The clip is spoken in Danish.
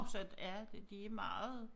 Om søndag ja de meget